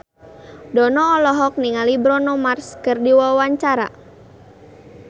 Dono olohok ningali Bruno Mars keur diwawancara